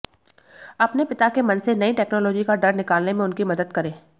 अपने पिता के मन से नई टेक्नोलॉजी का डर निकालने में उनकी मदद करें